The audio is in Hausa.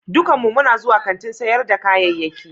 Dukkanmu muna zuwa kantin sayar da kayayyaki